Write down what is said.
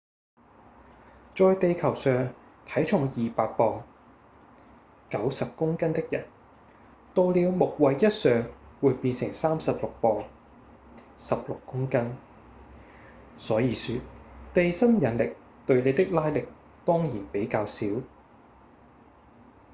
在地球上體重200磅90公斤的人到了木衛一上會變成36磅16公斤所以說地心引力對你的拉力當然比較小